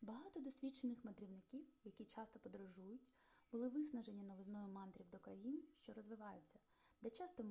багато досвідчених мандрівників які часто подорожують були виснажені новизною мандрів до країн що розвиваються де часто